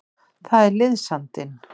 Það er liðsandinn.